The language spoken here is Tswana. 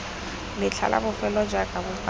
letlha la bofelo jaaka bopaki